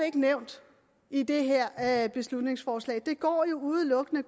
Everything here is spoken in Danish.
ikke nævnt i det her her beslutningsforslag det går jo udelukkende